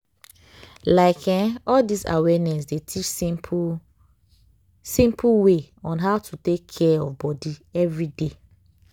like eh all dis awareness dey teach simple simple way on how to take care of body everyday.